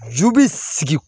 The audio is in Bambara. Ju bi sigi